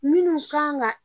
Minnu kan ka